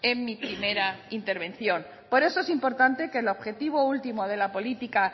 en mi primera intervención por eso es importante que el objetivo último de la política